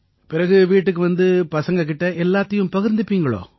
பிறகு வீட்டுக்கு வந்த பிறகு பசங்க கிட்ட எல்லாத்தையும் பகிர்ந்துப்பீங்களா